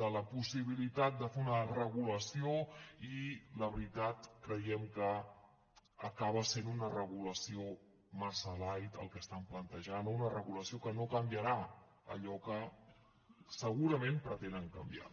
de la possibilitat de fer una regulació i la veritat creiem que acaba sent una regulació massa light el que estan plantejant una regulació que no canviarà allò que segurament pretenen canviar